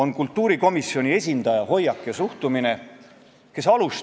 Ja meil on ruumi vaid ühele, ainsale lojaalsusele, ning selleks on lojaalsus Ameerika rahvale.